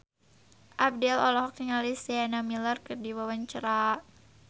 Abdel olohok ningali Sienna Miller keur diwawancara